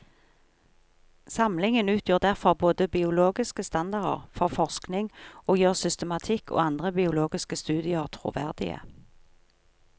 Samlingen utgjør derfor både biologiske standarder for forskning og gjør systematikk og andre biologiske studier troverdige.